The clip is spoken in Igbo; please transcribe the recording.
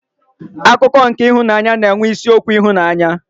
Akụkọ nke ịhụnanya na-enwe isiokwu ịhụnanya.